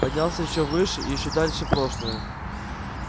поднялся ещё выше и ещё дальше прошлое